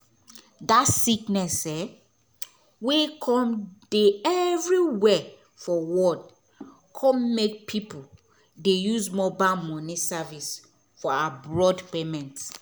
dat sickness um wey come dey every where for world come make pipo dey use mobile moni service for abroad payment